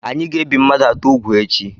Anyị ga-ebi mmadụ atọ úgwù echi.